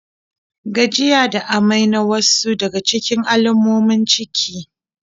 Gajiya da amai na wasu daga cikin alamomin ciki.